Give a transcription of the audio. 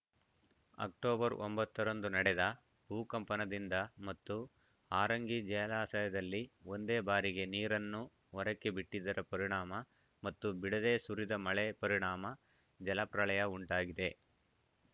October ಒಂಬತ್ತರಂದು ನಡೆದ ಭೂಕಂಪನದಿಂದ ಮತ್ತು ಹಾರಂಗಿ ಜಲಾಶಯದಲ್ಲಿ ಒಂದೇ ಬಾರಿಗೆ ನೀರನ್ನು ಹೊರಕ್ಕೆ ಬಿಟ್ಟಿದ್ದರ ಪರಿಣಾಮ ಮತ್ತು ಬಿಡದೇ ಸುರಿದ ಮಳೆ ಪರಿಣಾಮ ಜಲಪ್ರಳಯ ಉಂಟಾಗಿದೆ